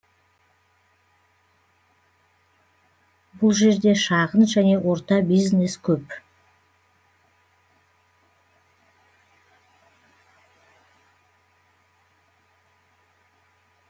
бұл жерде шағын және орта бизнес көп